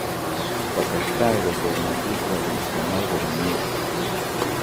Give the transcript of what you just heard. Kotestai kosomanchi sikopit konai komyee